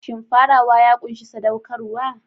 Shin farawa ya ƙunshi saɗaukarwa?